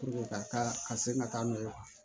ka se ka taa n'o ye